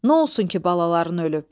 Nə olsun ki balaların ölüb?